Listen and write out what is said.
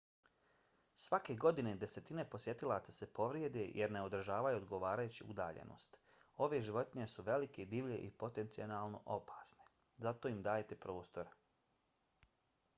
svake godine desetine posjetilaca se povrijede jer ne održavaju odgovarajuću udaljenost. ove životinje su velike divlje i potencijalno opasne. zato im dajte prostora